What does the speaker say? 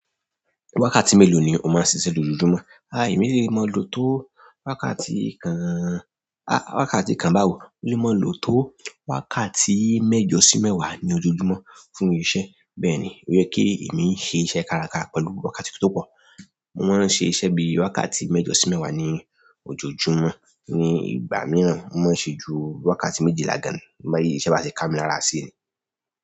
Wákàtí mélòó ni o máa ń ṣiṣẹ́ lójoojúmọ́? A èmi lè máa lò tó wákàtí kan, a wákàtí kan báwo? Lè máa lò tó wákàtí mẹ́jọ sí mẹ́wàá ní ojoojúmọ́ fún iṣẹ́. Bẹ́ẹ̀ ni, ó yẹ kí èmi ṣe iṣẹ́ káraká pẹ̀lú wákàtí tó pọ̀. Mo máa ń ṣe iṣẹ́ bí i wákàtí mẹ́jọ sí mẹ́wàá ní ojoojúmọ́ ní ìgbà mìíràn, mo máa ń ṣe ju wákàtí méjìlá gan-an, bi iṣẹ́ bá ṣe ká mi lára sí ni.